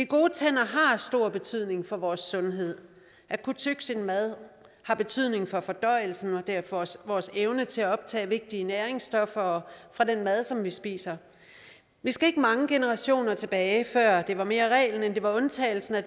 gode tænder har stor betydning for vores sundhed at kunne tygge sin mad har betydning for fordøjelsen og derfor også for vores evne til at optage vigtige næringsstoffer fra den mad som vi spiser vi skal ikke mange generationer tilbage før det mere var reglen end det var undtagelsen at